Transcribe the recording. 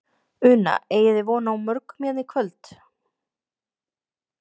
Una: Eigið þið von á morgun hérna í kvöld?